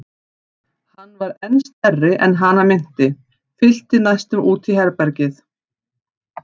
Hann var enn stærri en hana minnti, fyllti næstum út í herbergið.